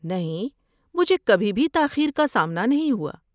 نہیں، مجھے کبھی بھی تاخیر کا سامنا نہیں ہوا۔